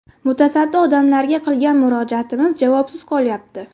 Mutasaddi odamlarga qilgan murojaatimiz javobsiz qolyapti.